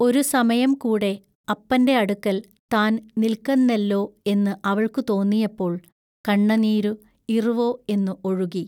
ഒരു സമയം കൂടെ അപ്പന്റെ അടുക്കൽ താൻ നില്ക്കന്നെല്ലൊ എന്നു അവൾക്കു തോന്നിയപ്പോൾ കണ്ണനീരു ഇറുവൊ എന്നു ഒഴുകി.